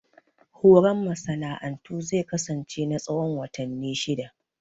Horon masana'antu zai kasance na tsawon watanni shidda